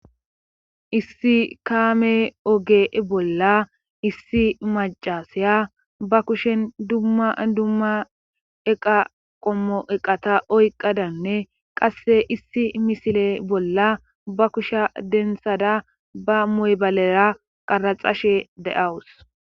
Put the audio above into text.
Issi kaame oge bolla issi maccasaya ba kushen dumma dumma eqa qommo eqata oyqadanne qasse issi misile bolla ba kusha denthada ba moybalera qaraxashe de7awus.